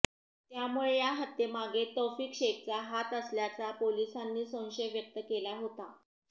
त्यामुळे या हत्येमागे तौफिक शेखचा हात असल्याचा पोलिसांनी संशय व्यक्त केला होता